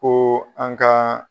Ko an k'an